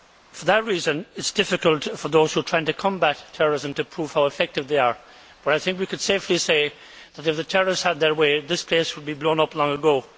For that reason, it is difficult for those who are trying to combat terrorism to prove how effective they are, but I think we could safely say that, if the terrorists had their way, this place would have been blown up long ago.